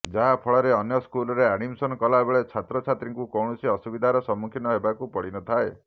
ଯାହା ଫଳରେ ଅନ୍ୟ ସ୍କୁଲରେ ଆଡମିଶନ କଲାବେଳେ ଛାତ୍ରଛାତ୍ରୀଙ୍କୁ କୌଣସି ଅସୁବିଧାର ସମ୍ମୁଖୀନ ହେବାକୁ ପଡିନଥାଏ